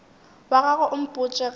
wa gago o mpotše ge